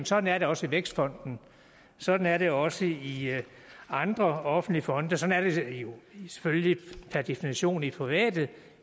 sådan er det også i vækstfonden sådan er det også i andre offentlige fonde sådan er det selvfølgelig per definition i private